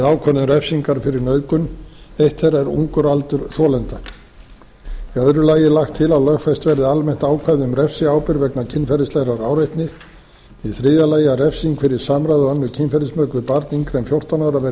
ákvörðun refsingar fyrir nauðgun eitt þeirra er ungur aldur þolenda í öðru lagi er lagt til að lögfest verði almennt ákvæði um refsiábyrgð vegna kynferðislegrar áreitni í þriðja lagi að refsing fyrir samræði og önnur kynferðismök við barn yngra en fjórtán ára verði